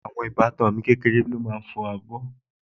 Àwọn ìbátan mi kékeré lóbìnrin ló máa ń fọ abọ́